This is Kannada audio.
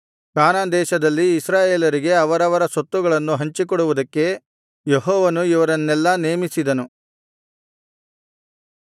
ಕಾನಾನ್ ದೇಶದಲ್ಲಿ ಇಸ್ರಾಯೇಲರಿಗೆ ಅವರವರ ಸ್ವತ್ತುಗಳನ್ನು ಹಂಚಿಕೊಡುವುದಕ್ಕೆ ಯೆಹೋವನು ಇವರನ್ನೆಲ್ಲಾ ನೇಮಿಸಿದನು